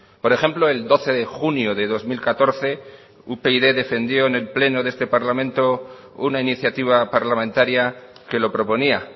por ejemplo el doce de junio de dos mil catorce upyd defendió en el pleno de este parlamento una iniciativa parlamentaria que lo proponía